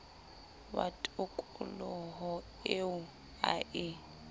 wa tokoloho eo a e